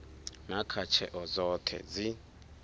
na kha tsheo dzoṱhe dzi